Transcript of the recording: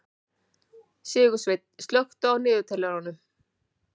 Sigursveinn, slökktu á niðurteljaranum.